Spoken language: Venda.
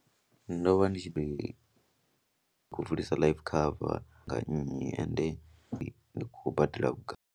Ndo vha ndi tshi khou vulisa life cover nga nnyi ende ndi khou badela vhugai.